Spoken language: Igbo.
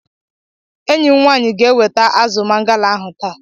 Enyi m nwaanyị ga-eweta azụ mangala ahụ taa.